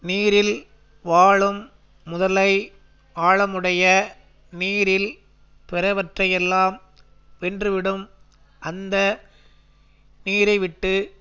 நீரில் வாழும் முதலை ஆழமுடைய நீரில் பிறவற்றையெல்லாம் வென்றுவிடும் அந்த நீரைவிட்டு